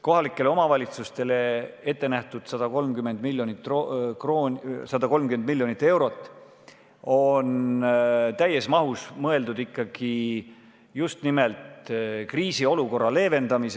Kohalikele omavalitsustele ette nähtud 130 miljonit eurot on täies mahus mõeldud just nimelt kriisiolukorra leevendamiseks.